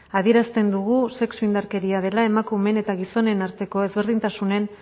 adierazten dugu sexu indarkeria dela emakumeen eta gizonen arteko ezberdintasunen